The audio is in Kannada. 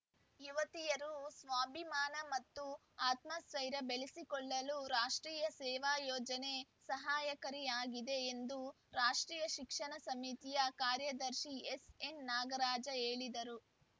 ಯುವತಿಯರು ಸ್ವಾಭಿಮಾನ ಮತ್ತು ಆತ್ಮಸೈರ್ಯ ಬೆಳೆಸಿಕೊಳ್ಳಲು ರಾಷ್ಟ್ರೀಯ ಸೇವಾ ಯೋಜನೆ ಸಹಕಾರಿಯಾಗಿದೆ ಎಂದು ರಾಷ್ಟ್ರೀಯ ಶಿಕ್ಷಣ ಸಮಿತಿಯ ಕಾರ್ಯದರ್ಶಿ ಎಸ್‌ಎನ್‌ನಾಗರಾಜ ಹೇಳಿದರು